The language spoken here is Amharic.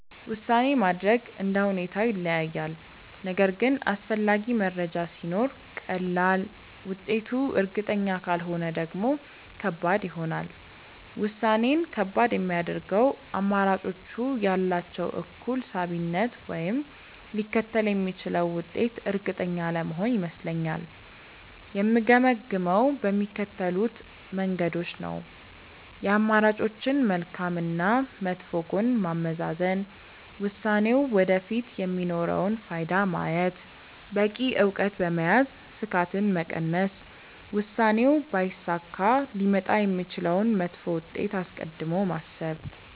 ውሳኔ ማድረግ እንደ ሁኔታው ይለያያል፤ ነገር ግን አስፈላጊ መረጃ ሲኖር ቀላል፣ ውጤቱ እርግጠኛ ካልሆነ ደግሞ ከባድ ይሆናል። ውሳኔን ከባድ የሚያደርገው አማራጮቹ ያላቸው እኩል ሳቢነት ወይም ሊከተል የሚችለው ውጤት እርግጠኛ አለመሆን ይመስለኛል። የምገመግመው በሚከተሉት መንገዶች ነው፦ የአማራጮችን መልካም እና መጥፎ ጎን ማመዛዘን፣ ውሳኔው ወደፊት የሚኖረውን ፋይዳ ማየት፣ በቂ እውቀት በመያዝ ስጋትን መቀነስ፣ ውሳኔው ባይሳካ ሊመጣ የሚችለውን መጥፎ ውጤት አስቀድሞ ማሰብ።